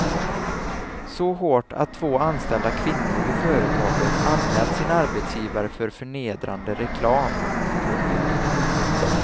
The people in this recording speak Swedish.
Så hårt att två anställda kvinnor vid företaget anmält sin arbetsgivare för förnedrande reklam. punkt